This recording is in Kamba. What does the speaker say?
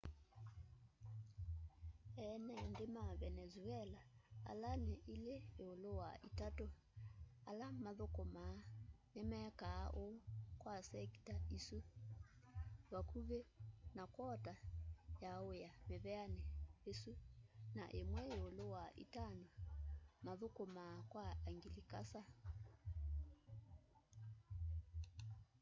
ene nthi ma venenzuela ala ni ilí íúlú wa itatu ala mathukumaa nimekaa úu kwa sekita isu vakuvi na kwota ya wía miveani isu na imwe íúlú wa itano mathukumaa kwa anglikasa